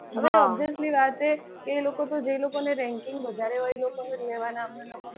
કે લોકો તો જે લોકોને ranking વધારે હોય એ લોકોને જ લેવાના હોય.